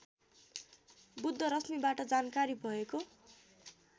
बुद्धरश्मिबाट जानकारी भएको